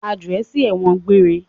A jù ẹ sí ẹ̀wọ̀n gbére!